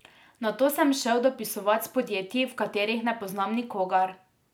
Nato sem se šel dopisovat s podjetji, v katerih ne poznam nikogar.